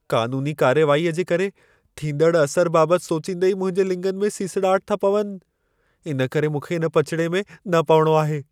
क़ानूनी कार्रवाईअ जे करे थींदड़ असर बाबत सोचींदे ई मुंहिंजे लिङनि में सिसड़ाहट था पवनि। इन करे मूंखे इन पचिड़े में न पवणो आहे।